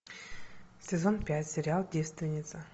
сезон пять сериал девственница